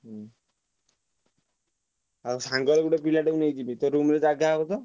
ହୁଁ ଆଉ ସାଙ୍ଗର ଗୋଟେ ପିଲା କୁ ନେଇ ଯିବି ତୋ room ରେ ତ ଜାଗା ହବ ତ?